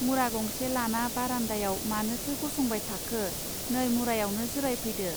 मुरा गंसे लाना बारान्दायाव मानोथो गसंबाय थाखो नै मुरायवनो जिरायफैदो.